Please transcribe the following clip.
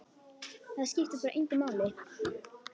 Það skiptir bara engu máli.